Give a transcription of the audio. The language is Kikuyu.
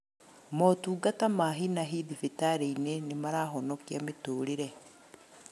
Motungata ma hi na hi thibitarĩ-inĩ nĩmarahonikia mĩtũrĩre